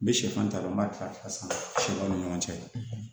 N bɛ sɛfan ta dɔrɔn n b'a kɛ a san siɲɛ o ni ɲɔgɔn cɛ